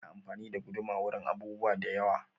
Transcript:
Ana anfani da guduma wurin yin abubuwa da yewa